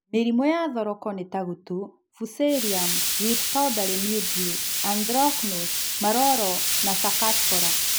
Mĩrimũ ya thoroko ni ta gutu, Fusarrium wilt Powdery mildew, Anthrocnose, maroro ma Cercospora